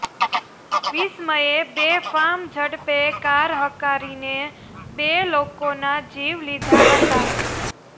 વિસ્મયે બેફામ ઝડપે કાર હંકારીને બે લોકોનાં જીવ લીધા હતા